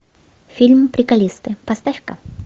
фильм приколисты поставь ка